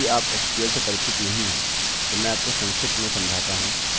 यदि आप sql से परिचित नहीं हैं तो मैं आपको संक्षिप्त में समझाता हूँ